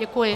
Děkuji.